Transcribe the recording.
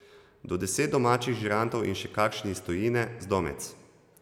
Do deset domačih žirantov in še kašen iz tujine, zdomec.